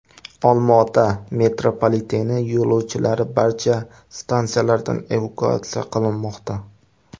Olmaota metropoliteni yo‘lovchilari barcha stansiyalardan evakuatsiya qilinmoqda.